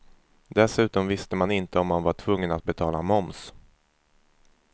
Dessutom visste man inte om man var tvungen att betala moms.